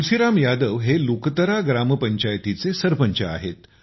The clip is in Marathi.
तुलसीराम यादव हे लुकतरा ग्रामपंचायतीचे सरपंच आहेत